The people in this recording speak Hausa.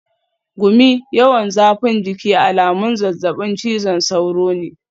Gumi, yawan zafin jiki alamun zazzabin cizon sauro ne.